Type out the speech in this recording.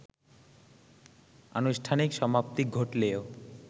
আনুষ্ঠানিক সমাপ্তি ঘটলেও